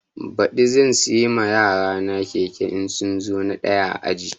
Baɗi zan siya ma yarana keke in sun zo na ɗaya a aji